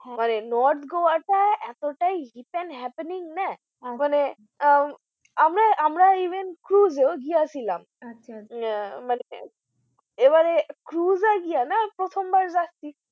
মানে North Goa টা এতটাই and happening না আহ মানে আমরা, আমরা even cruise এও গেছিলাম আচ্ছা মানে cruise এ গিয়া না প্রথমবার যাচ্ছি